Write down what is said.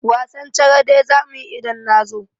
Wasan charade za mu yi idan na zo.